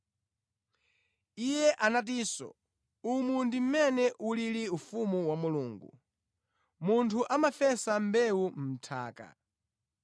Iye anatinso, “Umu ndi mmene ulili ufumu wa Mulungu. Munthu amafesa mbewu mʼnthaka.